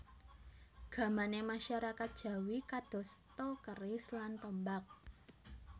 Gamané masyarakat Jawi kadosta keris lan tombak